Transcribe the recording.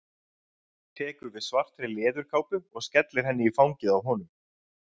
Tekur við svartri leðurkápu og skellir henni í fangið á honum.